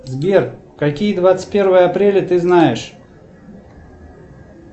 сбер какие двадцать первое апреля ты знаешь